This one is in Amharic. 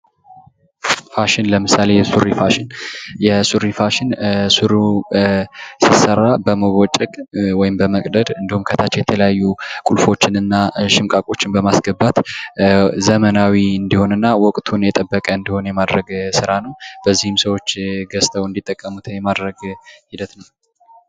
ፋሽን ለምሳሌ የሱሪ ፋሽን ሱሪው ሲሰራል በመቦጨቅ ወይም በመቅደድ ከታች የተለያዩ ቁልፎችንና ሽምቋችን በማስገባት ማስታወቂያዎች ዘመናዊ እንዲሆንና ወቅቱን የጠበቀ ስራ እንዲሆን የማድረግ በዚህም ሰዎች ገዝተው እንዲጠቀሙት የማድረግ ሂደት ነው።